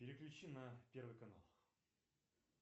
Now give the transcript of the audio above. переключи на первый канал